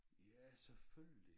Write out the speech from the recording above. Ja selvfølgelig